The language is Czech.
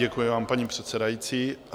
Děkuji vám, paní předsedající.